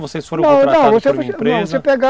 Vocês foram contratados por uma empresa?